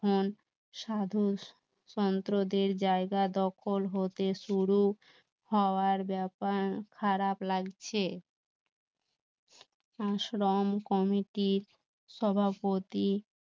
সাধুর সন্ত্রদের জায়গা দখল হতে শুরু হওয়ার ব্যাপার খারাপ লাগছে আশ্রম কমিটির সভাপতি